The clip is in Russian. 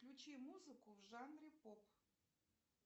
включи музыку в жанре поп